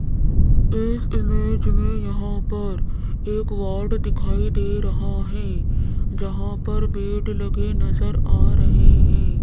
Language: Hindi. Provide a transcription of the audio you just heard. इस इमेज में यहां पर एक वार्ड दिखाई दे रहा हैं जहां पर बेड लगे नजर आ रहे हैं।